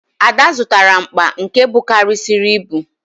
Ada zụtara mkpa nke bukarịsịrị ibu